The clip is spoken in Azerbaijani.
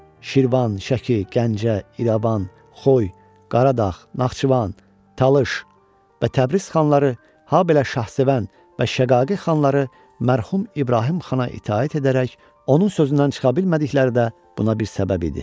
Şirvan, Şəki, Gəncə, İrəvan, Xoy, Qaradağ, Naxçıvan, Talış və Təbriz xanları, habelə Şahsevən və Şaqaqi xanları mərhum İbrahim xana itaət edərək onun sözündən çıxa bilmədikləri də buna bir səbəb idi.